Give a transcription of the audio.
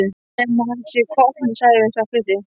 Nema hann sé á koppnum, sagði sá fyrri.